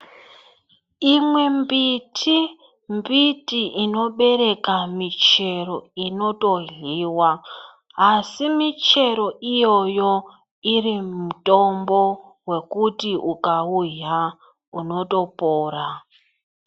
Imwe mbiti mbiti inobereka michero inotoryiwa asi michero iyoyo iri mitombo yekuti ukauhya unotopora.